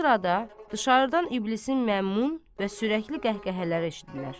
Bu sırada dışarıdan iblisin məmun və sürəkli qəhqəhələri eşitdilir.